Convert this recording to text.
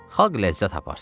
Xalq ləzzət aparsın.